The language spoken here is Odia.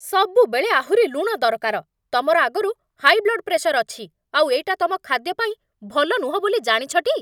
ସବୁବେଳେ ଆହୁରି ଲୁଣ ଦରକାର! ତମର ଆଗରୁ ହାଇ ବ୍ଲଡ୍ ପ୍ରେସର ଅଛି, ଆଉ ଏଇଟା ତମ ଖାଦ୍ୟ ପାଇଁ ଭଲ ନୁହଁ ବୋଲି ଜାଣିଛ ଟି?